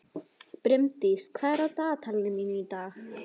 Brimdís, hvað er á dagatalinu mínu í dag?